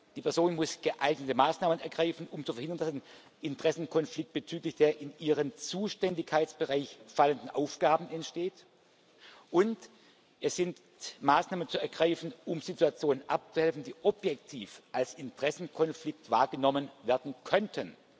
Die Person muss geeignete Maßnahmen ergreifen, um zu verhindern, dass ein Interessenkonflikt bezüglich der in ihren Zuständigkeitsbereich fallenden Aufgaben entsteht, und es sind Maßnahmen zu ergreifen, um Situationen abzuhelfen, die objektiv als Interessenkonflikt wahrgenommen werden könnten.